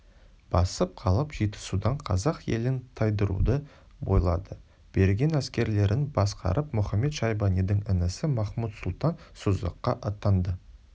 басып қалып жетісудан қазақ елін тайдыруды ойлады берген әскерлерін басқарып мұхамед-шайбанидің інісі махмуд-сұлтан созаққа аттанды